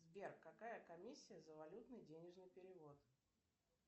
сбер какая комиссия за валютный денежный перевод